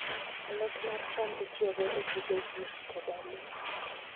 Alot mar cham itiyogo e pidho ji koda le.